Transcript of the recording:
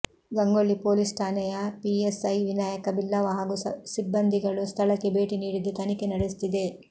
Gangolli police ಠಾಣೆಯ PSI Vinayaka Billava ಹಾಗೂ ಸಿಬ್ಬಂದಿಗಳು ಸ್ಥಳಕ್ಕೆ ಭೇಟಿ ನೀಡಿದ್ದು ತನಿಖೆ ನಡೆಯುತ್ತಿದೆ